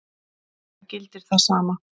Það gildir það sama.